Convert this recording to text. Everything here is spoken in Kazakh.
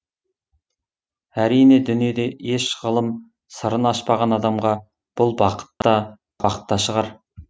әрине дүниеде еш ғылым сырын ашпаған адамға бұл бақыт та бақ та шығар